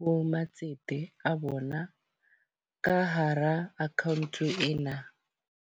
ho matsete a bona ka hara account ena.